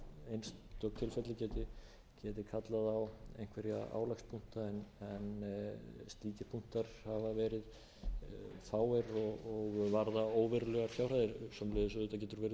geti kallað á einhverja álagspunkta en slíkir punktar hafa verið fáir og varða óverulegar fjárhæðir auðvitað getur verið um einhverjar